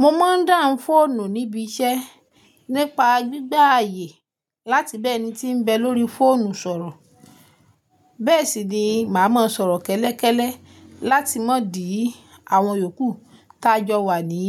Mo máa ń dáhùn fóònù níbi iṣẹ́ nípa gbígbà àyè láti bẹ́ẹ̀ ni tí ń bẹ lóri fóònù sọ̀rọ̀. Bẹ́ẹ̀ sì ni màá máa sọ̀rọ̀ kẹ́lẹ́kẹ́lẹ́ láti má dì àwọn yòókù ta jọ wà ní